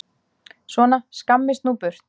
Svona, skammist nú burt!